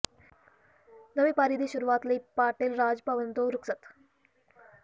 ਨਵੀਂ ਪਾਰੀ ਦੀ ਸ਼ੁਰੂਆਤ ਲਈ ਪਾਟਿਲ ਰਾਜ ਭਵਨ ਤੋਂ ਰੁਖ਼ਸਤ